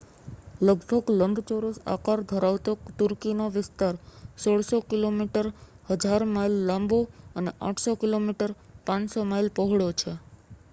લગભગ લંબચોરસ આકાર ધરાવતો તુર્કીનો વિસ્તાર 1,600 કિલોમીટર 1,000 માઇલ લાંબો અને 800 કિમી 500 માઇલ પહોળો છે